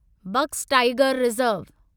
box tiger reserve